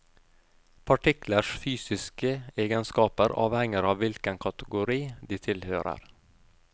Partiklers fysiske egenskaper avhenger av hvilken kategori de tilhører.